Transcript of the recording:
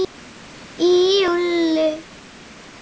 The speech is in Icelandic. Í júlí